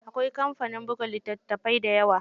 Akwai kamfanin buga litattafai dayawa.